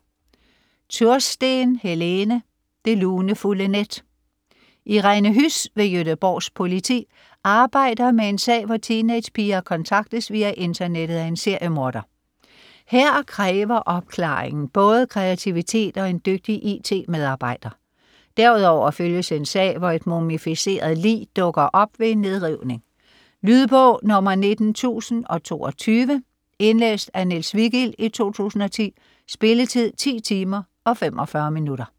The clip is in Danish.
Tursten, Helene: Det lunefulde net Irene Huss ved Göteborgs politi arbejder med en sag, hvor teenagepiger kontaktes via internettet af en seriemorder. Her kræver opklaringen både kreativitet og en dygtig it-medarbejder. Derudover følges en sag, hvor et mumificeret lig dukker op ved en nedrivning. Lydbog 19022 Indlæst af Niels Vigild, 2010. Spilletid: 10 timer, 45 minutter.